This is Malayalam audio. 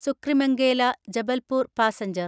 സുക്രിമംഗേല ജബൽപൂർ പാസഞ്ചർ